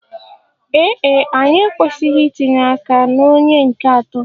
Ee e, anyị ekwesịghị itinye aka na onye nke atọ.